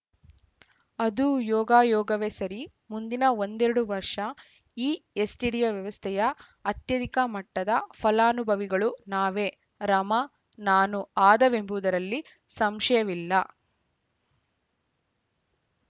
ಅದು ಯೋಗಾಯೋಗವೇ ಸರಿ ಮುಂದಿನ ಒಂದೆರಡು ವರ್ಷ ಈ ಎಸ್‌ಟಿಡಿ ವ್ಯವಸ್ಥೆಯ ಅತ್ಯಧಿಕ ಮಟ್ಟದ ಫಲಾನುಭವಿಗಳು ನಾವೇ ರಮಾನಾನು ಆದೆವೆಂಬುದರಲ್ಲಿ ಸಂಶಯವಿಲ್ಲ